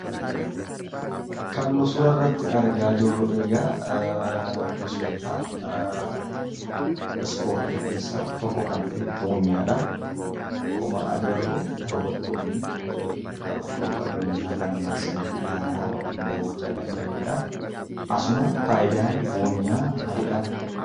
Kan nu suura irratti argaa jirru egaa gosoota ispoortii keessaa tokko kan ta'e buunyaadha. Akkuma agarru daawwattoonni taphattoota buunyaa kana marsanii ilaalaa yookiin daawwachaa kan jiranidhaa. Asumaan faayidaan buunyaa maalidhaa?